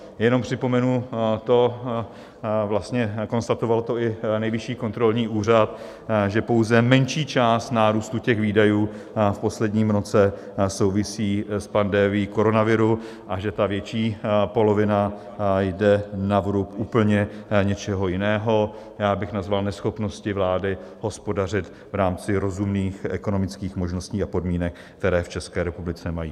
Jenom připomenu to, vlastně konstatoval to i Nejvyšší kontrolní úřad, že pouze menší část nárůstu těch výdajů v posledním roce souvisí s pandemií koronaviru a že ta větší polovina jde na vrub úplně něčeho jiného, já bych nazval neschopnosti vlády hospodařit v rámci rozumných ekonomických možností a podmínek, které v České republice mají.